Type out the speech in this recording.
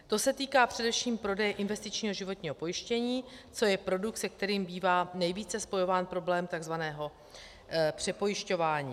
To se týká především prodeje investičního životního pojištění, což je produkt, se kterým bývá nejvíce spojován problém tzv. přepojišťování.